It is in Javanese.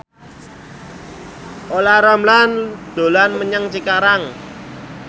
Olla Ramlan dolan menyang Cikarang